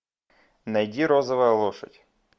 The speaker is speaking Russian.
найди розовая лошадь